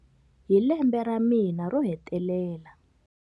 Hi lembe ra mina ro hetelela.